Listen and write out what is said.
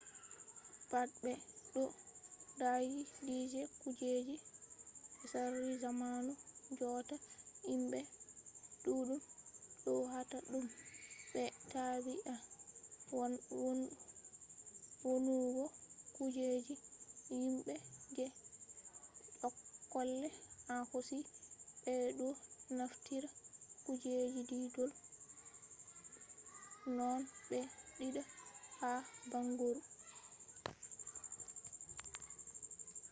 pat be ɗo daayi dige kujeji tsari zamanu jotta himɓe ɗuɗɗum ɗo hata ɗum be tabi’a wonnugo kujeji himɓe je jokkolle en hosi. ɓe ɗo naftira kujeji diidol noone ɓe diida ha bangoru